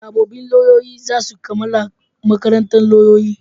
Sabobbin lauyoyi za su kammala makarantan lauyoyi